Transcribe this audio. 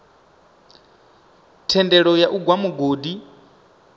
thendelo ya u gwa mugodi